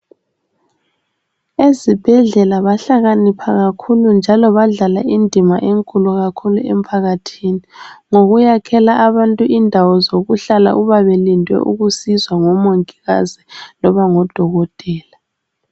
Ezibhedlela bahlakanipha kakhulu njalo badlala indima enkulu kakhulu emphakathini ngokuyakhela abantu indawo zokuhlala uma belinde ukusizwa ngomongikazi loba ngodokotela